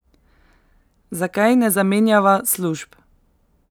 Zakaj ne zamenjava služb?